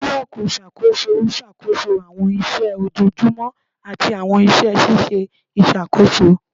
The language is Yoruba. Bulọọki iṣakoso n ṣakoso awọn iṣẹ ojoojumọ ati awọn iṣẹ ṣiṣe iṣakoso